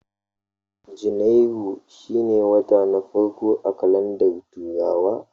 Janairu shine wata na farko a kalandar turawa